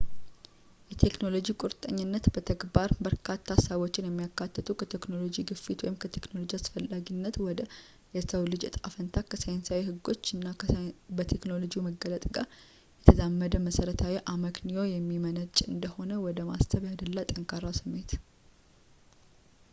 የቴክኖሎጂ ቁርጠኝነት በተግባር በርካታ ሀሳቦችን የሚያካትት ከቴክኖሎጂ-ግፊት ወይም ከቴክኖሎጂ አስፈላጊነት ወደ የሰው ልጅ እጣ ፈንታ ከሳይንሳዊ ህጎች እና በቴክኖሎጂው መገለጥ ጋር የተዛመደ መሰረታዊ አመክንዮ የሚመነጭ እንደሆነ ወደ ማሰብ ያደላ ጠንካራ ስሜት